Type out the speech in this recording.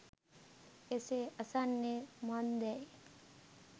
එසේ අසන්නේ මන්දැයි